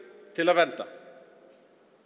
til að vernda